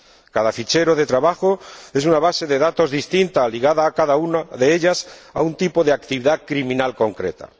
Cada fichero de trabajo es una base de datos distinta, ligada cada una de ellas a un tipo de actividad criminal concreta.